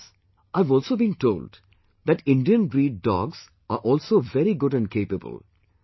Friends, I have also been told that Indian breed dogs are also very good and capable